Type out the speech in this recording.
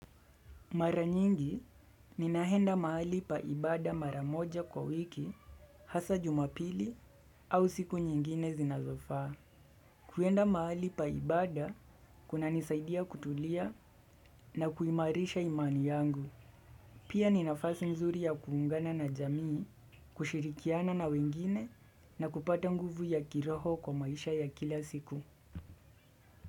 Mara nyingi ninaenda mahali paa ibada maramoja kwa wiki hasa jumapili au siku nyingine zinazofaa. Kuenda mahali pa ibada kuna nisaidia kutulia na kuimarisha imani yangu. Pia ninafasi mzuri ya kuungana na jamii, kushirikiana na wengine na kupata nguvu ya kiroho kwa maisha ya kila siku.